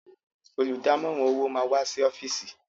Olùdámọ̀ràn owó máa wá sí ọ́fìsì.